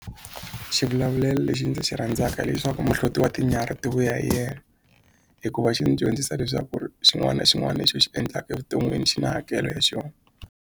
Xivulavulelo lexi ndzi xi rhandzaka lexaku muhloti wa tinyarhi ti vuya hi yena hikuva xi ni dyondzisa leswaku ri xin'wana na xin'wana lexi u xi endlaka evuton'wini xi na hakelo ya xona.